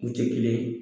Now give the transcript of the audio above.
U tɛ kelen ye